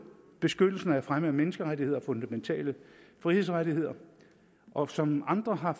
beskyttelsen af fremme af menneskerettigheder og fundamentale frihedsrettigheder og som andre har